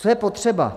Co je potřeba?